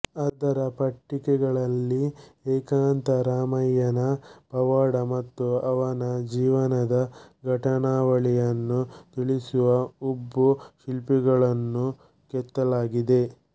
ಅದರ ಪಟ್ಟಿಕೆಗಳಲ್ಲಿ ಏಕಾಂತ ರಾಮಯ್ಯನ ಪವಾಡ ಮತ್ತು ಅವನ ಜೀವನದ ಘಟನಾವಳಿಗಳನ್ನು ತಿಳಿಸುವ ಉಬ್ಬು ಶಿಲ್ಪಗಳನ್ನು ಕೆತ್ತಲಾಗಿದೆ